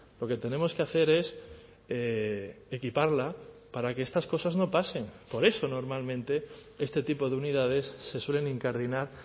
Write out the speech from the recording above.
lo que tenemos que hacer es equiparla para que estas cosas no pasen por eso normalmente este tipo de unidades se suelen incardinar